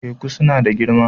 Teku suna da girma.